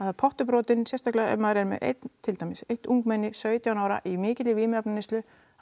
er pottur brotinn sérstaklega ef maður er með einn til dæmis eitt ungmenni sautján ára í mikilli vímuefnaneyslu